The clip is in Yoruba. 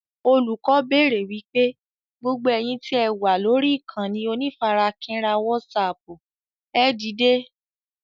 Olùkọ́ béèrè wípé "gbogbo ẹ̀yin tí ẹ wà lórí ìkànnì onífarakínra wásààpù ẹ dìde!